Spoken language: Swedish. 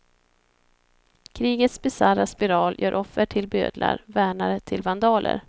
Krigets bisarra spiral gör offer till bödlar, värnare till vandaler.